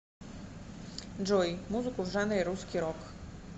джой музыку в жанре русский рок